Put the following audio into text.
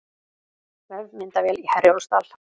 Vefmyndavél í Herjólfsdal